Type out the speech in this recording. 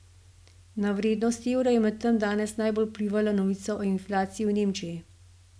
Na vrednost evra je medtem danes najbolj vplivala novica o inflaciji v Nemčiji.